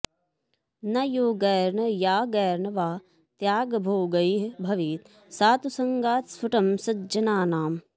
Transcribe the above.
न योगैर्न यागैर्न वा त्यागभोगैः भवेत् सा तु सङ्गात् स्फुटं सज्जनानाम्